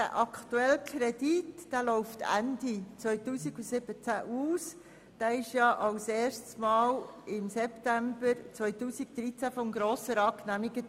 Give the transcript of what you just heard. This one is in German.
Der aktuelle Kredit läuft Ende 2017 aus und wurde erstmals im September 2013 vom Grossen Rat genehmigt.